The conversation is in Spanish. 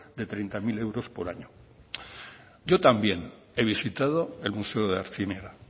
de treinta mil euros por año yo también he visitado el museo de artziniega